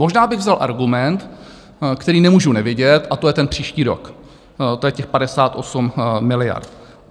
Možná bych vzal argument, který nemůžu nevidět, a to je ten příští rok, to je těch 58 miliard.